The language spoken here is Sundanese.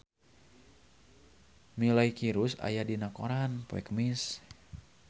Miley Cyrus aya dina koran poe Kemis